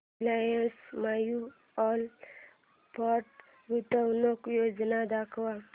Reliance mutual fund गुंतवणूक योजना दाखव